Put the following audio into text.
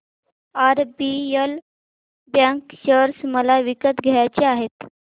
RBL bank share मला विकत घ्यायचे आहेत